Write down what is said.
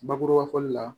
Bakuruba fɔli la